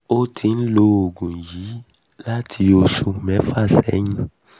ó ti ń lo oògùn yìí láti oṣù mẹ́ta mẹ́ta sẹ́yìn